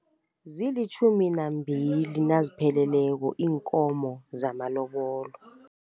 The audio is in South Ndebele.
Zilitjhumi nambili nazipheleleko iinkomo zamalobolo.